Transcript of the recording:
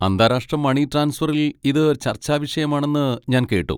അന്താരാഷ്ട്ര മണി ട്രാൻസ്ഫറിൽ ഇത് ചർച്ചാവിഷയമാണെന്ന് ഞാൻ കേട്ടു?